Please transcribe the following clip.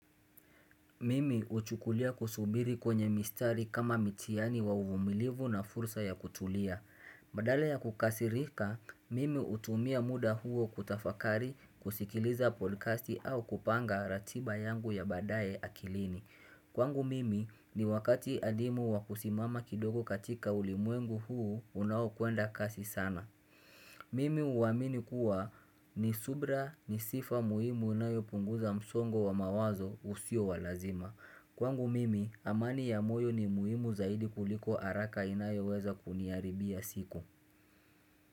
Mimi huchukulia kusubiri kwenye mistari kama mitihani wa uvumilivu na fursa ya kutulia. Badale ya kukasirika, mimi hutumia muda huo kutafakari kusikiliza podcasti au kupanga ratiba yangu ya badaye akilini. Kwangu mimi ni wakati adimu wa kusimama kidogo katika ulimwengu huu unaokwenda kasi sana. Mimi huamini kuwa ni subira ni sifa muhimu unayopunguza msongo wa mawazo usio wa lazima. Kwangu mimi amani ya moyo ni muhimu zaidi kuliko haraka inayoweza kuniharibia siku.